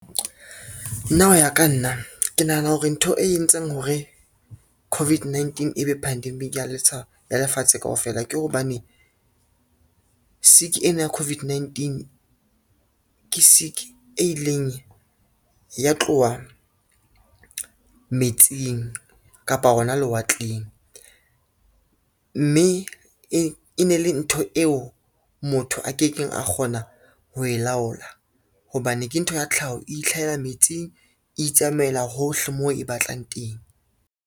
Nna ho ya ka nna ke nahana hore ntho e entseng hore COVID-19 ebe pandemic ya lefatshe kaofela ke hobane, sick ena ya COVID-19 ke sick e ileng ya tloha metsing kapa hona lewatleng, mme e ne le ntho eo motho a ke keng a kgona ho e laola, hobane ke ntho ya tlhaho, itlhahela metsing, itsamaela hohle moo e batlang teng.